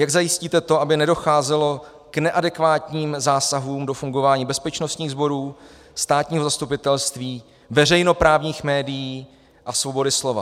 Jak zajistíte to, aby nedocházelo k neadekvátním zásahům do fungování bezpečnostních sborů, státního zastupitelství, veřejnoprávních médií a svobody slova?